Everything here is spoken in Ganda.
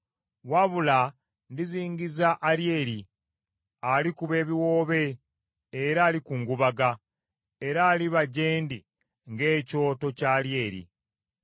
Wabula ndizingiza Alyeri, alikuba ebiwoobe era alikungubaga, era aliba gye ndi ng’ekyoto kya Alyeri.